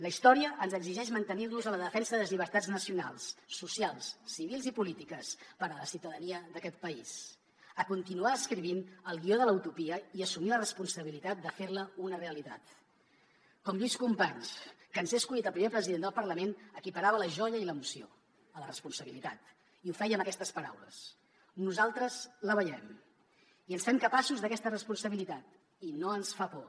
la història ens exigeix mantenir nos en la defensa de les llibertats nacionals socials civils i polítiques per a la ciutadania d’aquest país continuar escrivint el guió de la utopia i assumir la responsabilitat de fer la una realitat com lluís companys que en ser escollit el primer president del parlament equiparava la joia i l’emoció a la responsabilitat i ho feia amb aquestes paraules nosaltres la veiem i ens fem capaços d’aquesta responsabilitat i no ens fa por